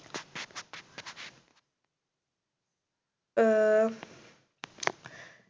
ആഹ്